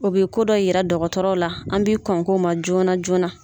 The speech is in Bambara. O bɛ ko dɔ yira dɔgɔtɔrɔ la an bi kɔn k'o ma joona joona.